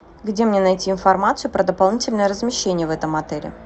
где мне найти информацию про дополнительное размещение в этом отеле